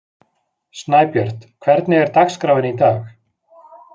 Snæbjört, hvernig er dagskráin í dag?